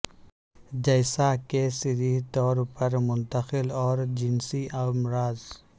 جیسا کہ صریح طور پر منتقل اور جنسی امراض